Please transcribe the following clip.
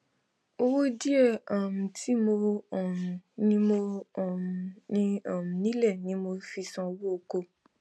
owó díẹ um tí mo um ní mo um ní um nílé ni mo fi san owó ọkọ